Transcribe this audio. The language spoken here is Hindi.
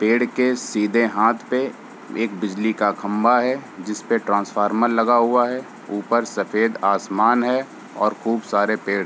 पेड़ के सीधे हांथ पे एक बिजली का खम्बा है जिसपे ट्रांसफर्मर लगा हुआ है ऊपर सफ़ेद आसमान हैऔर खूब सारे पेड़।